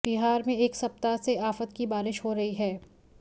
बिहार में एक सप्ताह से आफत की बारिश हो रही है